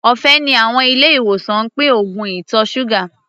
Ọ̀fẹ́ ni àwọn ilé-ìwòsàn ń pín oògùn ìtọ̀ ṣúgà.